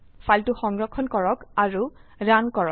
ফাইলটো সংৰক্ষণ কৰক আৰু ৰান কৰক